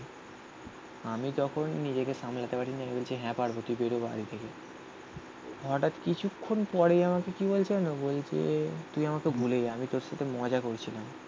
আমি তখন নিজেকে সামলে যেতে পারি. নেমে বলছে হ্যাঁ পারবো তুই বেরো বাইরে থেকে হটাৎ কিছুক্ষন পরেই আমাকে কি বলছে যেন বলছে তুই আমাকে ভুলে যা. আমি তোর সাথে মজা করছিলাম.